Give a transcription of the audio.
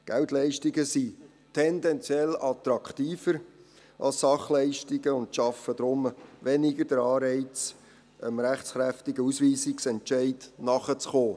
Geldleistungen sind tendenziell attraktiver als Sachleistungen und schaffen deshalb weniger einen Anreiz, dem rechtskräftigen Ausschaffungsentscheid nachzukommen.